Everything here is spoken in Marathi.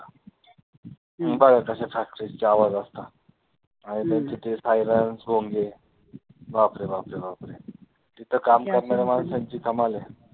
बघा कसे factories चे आवाज असतात आणि त्यांचे ते siren भोंगे बापरे बापरे बापरे तिथे काम करणाऱ्या माणसांची धमाल आहे.